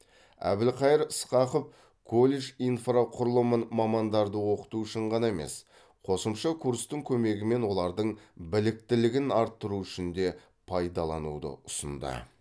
әбілқайыр сқақов колледж инфрақұрылымын мамандарды оқыту үшін ғана емес қосымша курстың көмегімен олардың біліктілігін арттыру үшін де пайдалануды ұсынды